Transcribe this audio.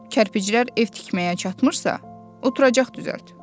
Kərpiclər ev tikməyə çatmırsa, oturacaq düzəlt.